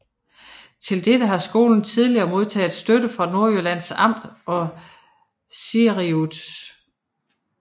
Til dette har skolen tidligere modtaget støtte fra Nordjyllands Amt og Cirius